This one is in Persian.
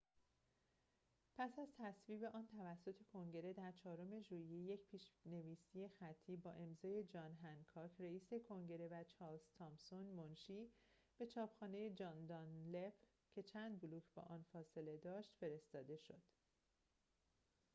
پس از تصویب آن توسط کنگره در چهارم ژوئیه یک پیش‌نویس خطی با امضای جان هنکاک رِئیس کنگره و چارلز تامسون منشی به چاپخانه جان دانلپ که چند بلوک با آنجا فاصله داشت فرستاده شد